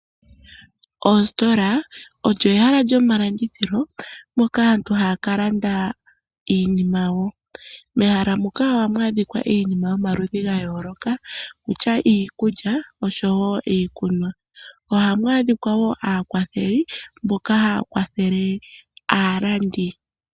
Oositola olyo ehala lyomalandithilo moka aantu hayaka landa iinima mehala muka ohau adhika iinima ya yoolokathana okutya iikulya nenge iikunwa ohamu adhika wo aakwatheli mboka haya kwathele aalandi.